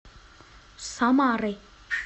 самары